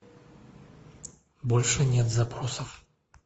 больше нет запросов